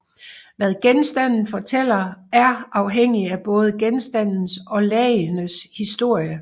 Hvad genstanden fortæller er afhængig af både genstandens og lagenes historie